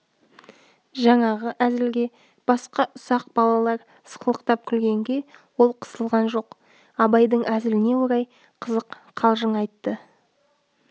жаңағы әзілге басқа ұсақ балалар сықылықтап күлгенге ол қысылған жоқ абайдың әзіліне орай қызық қалжың айтты